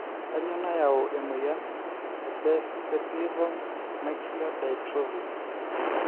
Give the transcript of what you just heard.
kainyioo nayau e moyian e Best vitelliform macular dystrophy ?